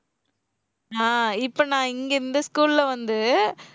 ஆஹ் இப்ப நான் இங்கே இந்த school ல வந்து,